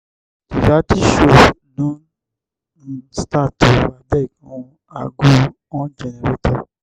di reality show don um start o abeg make um i go on generator.